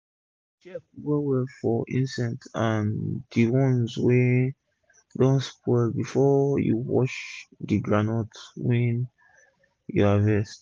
check well well for insect and d ones wey don spoil before you wash d groundnut wey u harvest